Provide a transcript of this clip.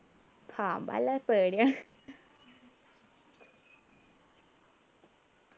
പാമ്പല്ല പേടിയാണ്